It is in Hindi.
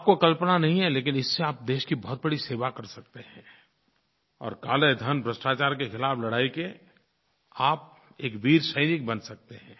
आपको कल्पना नहीं है लेकिन इससे आप देश की बहुत बड़ी सेवा कर सकते हैं और काले धन भ्रष्टाचार के ख़िलाफ़ लड़ाई के आप एक वीर सैनिक बन सकते हैं